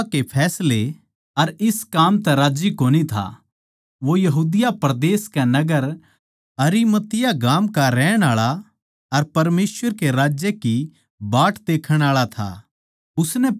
उनकी बिचार अर उनके इस काम तै राज्जी कोनी था वो यहूदिया परदेस के नगर अरिमतिया गाम का रहण आळा अर परमेसवर के राज्य की बाट देखण आळा था